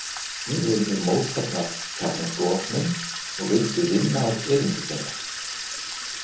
Einnig voru þær mótfallnar kjarnorkuvopnum og vildu vinna að eyðingu þeirra.